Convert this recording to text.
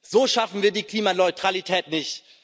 So schaffen wir die Klimaneutralität nicht.